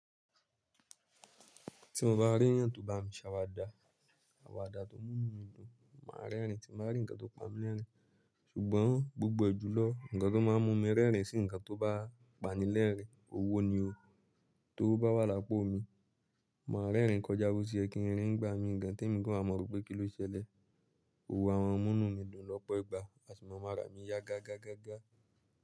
Tí mo bá rí ẹ̀yà̀n tó bá mi ṣàwàda, àwàdà tó mú mí dùn, màá rẹ́rìn tí màá rí ǹkan tó pamilẹ́rìn ín. Ṣùgbọ́n gbogbo ẹjùlọ̀, ǹkan tó máa mú mi rẹ́rìn ín sí ǹkan tó bá panilẹ́rìn ín, owó ni o. T'owo bá wà lápò mi, màá rẹ́rìn kọjá bọ́ sí yẹ kin rìn n gbá mi gan t'èmi gán à mọ̀ rò pé kí ló ṣẹlẹ̀. Owó àma múnú mi dùn lọ́pọ̀ ìgbà àsi mo máa rà á mi yá gá gá gá gá.